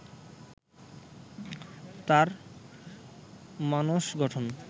তার মানস গঠন